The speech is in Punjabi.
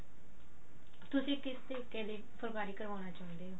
ਤੁਸੀਂ ਕਿਸ ਤਰੀਕੇ ਦੀ ਫੁੱਲਕਾਰੀ ਕਰਾਉਣ ਚਾਹੁੰਦੇ ਹੋ